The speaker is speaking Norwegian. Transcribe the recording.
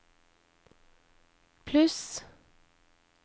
pluss